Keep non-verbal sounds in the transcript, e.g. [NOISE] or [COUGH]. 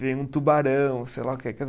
Vem um tubarão, sei lá o que. [UNINTELLIGIBLE]